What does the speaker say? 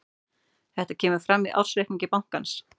Þetta kemur fram í ársreikningi bankans